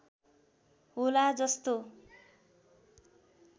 होला जस्तो